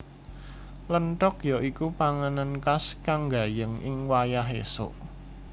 Lentog ya iku panganan khas kang gayeng ing wayah esuk